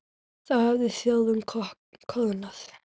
Þá hefði þjóðin koðnað.